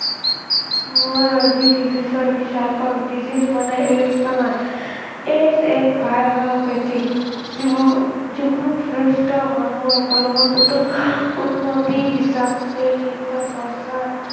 মই আজি disease ৰ বিষয়ে কম। disease মানে AIDS বেমাৰ। AIDS এক ভয়াৱহ ব্যাধি। যিবোৰ জীৱশ্ৰেষ্ঠ মানুহৰ কৰ্মক্ষেত্ৰত উন্নতি হিচাপে চিন্তা চৰ্চা